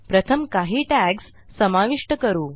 प्रथम काही टॅग्ज समाविष्ट करू